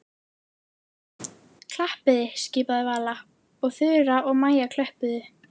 Klappiði skipaði Vala og Þura og Maja klöppuðu.